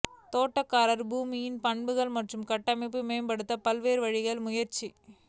தோட்டக்காரர்கள் பூமியின் பண்புகள் மற்றும் கட்டமைப்பு மேம்படுத்த பல்வேறு வழிகளில் முயற்சி